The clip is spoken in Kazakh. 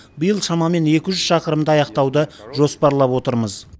биыл шамамен екі жүз шақырымды аяқтауды жоспарлап отырмыз